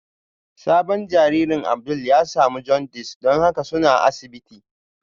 Sabon jaririn Abdul ya samu jaundice don haka suna asibiti